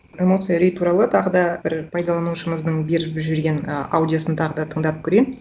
эмоция үрей туралы тағы да бір пайдаланушымыздың беріп жіберген ы аудиосын тағы да тыңдатып көрейін